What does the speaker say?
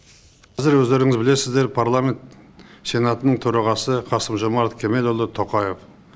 қазір өздеріңіз білесіздер парламент сенатының төрағасы қасым жомарт кемелұлы тоқаев